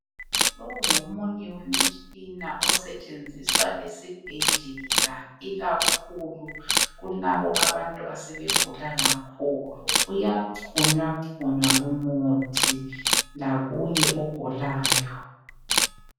Lo ngomunye wemitshina osetsheziswa esibhedlela ikakhulu kulabo abantu asebegula kakhulu. Uyaxhunywa xhunywa lumuthi lakuye ogulayo